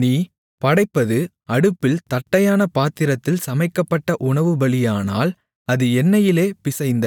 நீ படைப்பது அடுப்பில் தட்டையான பாத்திரத்தில் சமைக்கப்பட்ட உணவுபலியானால் அது எண்ணெயிலே பிசைந்த